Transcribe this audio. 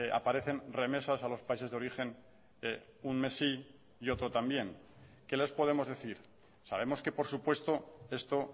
aparecen remesas a los países de origen un mes sí y otro también qué les podemos decir sabemos que por supuesto esto